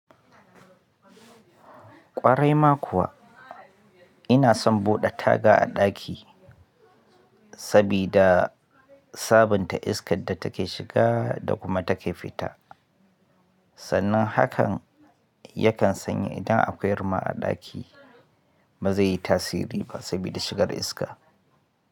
Gabaɗaya ma kuwa inason buɗe taga a ɗaki sabida sabunta iskar da take shiga da kuma take fita. Sannan hakan yakan sanye idan akwai ruma a ɗaki ba zai yi tasiri ba sabida shigar iska.